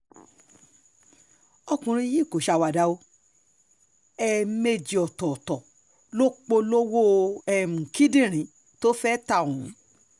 ọkùnrin yìí kò ṣàwàdà o um ẹ̀ẹ̀mejì ọ̀tọ̀ọ̀tọ̀ ló polówó um kíndìnrín tó fẹ́ẹ́ ta ohun